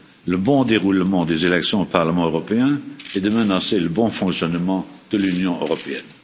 le bon déroulement des élections au Parlement européen et de menacer le bon fonctionnement de l'Union européenne.